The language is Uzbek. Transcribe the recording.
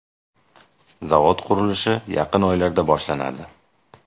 Zavod qurilishi yaqin oylarda boshlanadi.